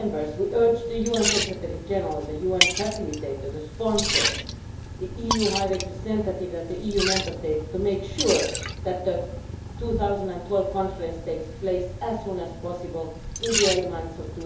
We urge the UN Secretary General, the UN facilitator, the sponsors, the EU High Representative and the EU Member States to make sure that the 2012 Conference takes place as soon as possible in the early months of